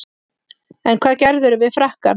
En hvað gerðirðu við frakkann?